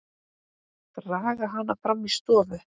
Draga hana fram í stofu.